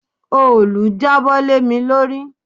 Òòlù jábọ́ lé mi lórí.